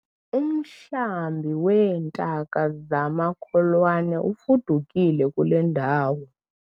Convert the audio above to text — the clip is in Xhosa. Umhlambi weentaka zamakholwane ufudukile kule ndawo.